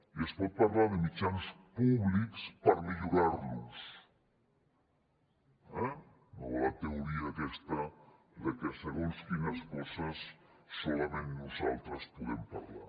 i es pot parlar de mitjans públics per millorar los no la teoria aquesta que segons quines coses solament nosaltres en podem parlar